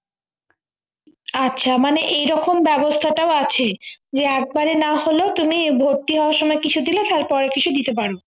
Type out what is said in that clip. আচ্ছা মানে এই রকম ব্যবস্থাটাও আছে যে একবারে না হলেও তুমি ভর্তি হওয়ার সময় দিলে তারপরে কিছু দিতে পারি